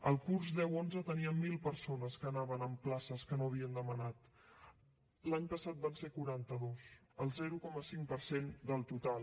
el curs deu onze teníem mil persones que anaven en places que no havien demanat l’any passat van ser quaranta dos el zero coma cinc per cent del total